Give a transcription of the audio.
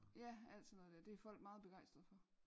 Ja alt sådan noget dér det er folk meget begejstrede for